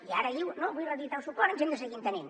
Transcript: i ara diu vull reeditar el suport ens hem de seguir entenent